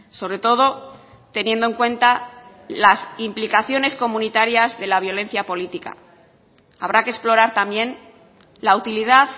sobre todo teniendo en cuenta las implicaciones comunitarias de la violencia política habrá que explorar también la utilidad